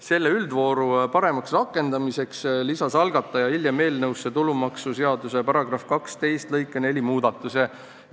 Selle üldvooru paremaks rakendamiseks lisas algataja hiljem eelnõusse tulumaksuseaduse § 12 lõike 4 muudatuse.